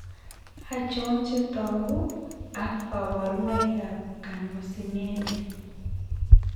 Achon chetogu ak kaborunoik ab Carnosinemia?